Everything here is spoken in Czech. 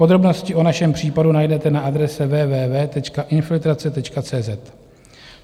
Podrobnosti o našem případu najdete na adrese www.infiltrace.cz.